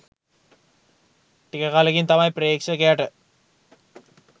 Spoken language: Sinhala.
ටික කලකින් තමයි ප්‍රේක්ෂකයට